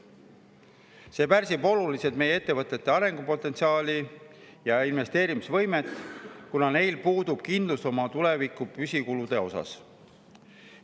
See pärsib oluliselt meie ettevõtete arengupotentsiaali ja investeerimisvõimet, kuna neil puudub kindlustunne oma tuleviku püsikulude suhtes.